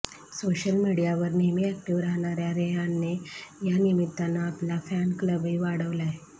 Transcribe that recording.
social मीडियावर नेहमी active राहणाऱ्या रेहानने या निमित्तानं आपला फॅन क्लबही वाढवलाय